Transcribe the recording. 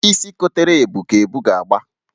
Isi kotere ebu ka ebu ga-agba.